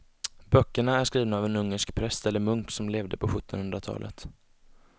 Böckerna är skrivna av en ungersk präst eller munk som levde på sjuttonhundratalet.